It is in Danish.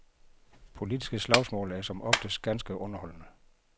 Politiske slagsmål er som oftest ganske underholdende.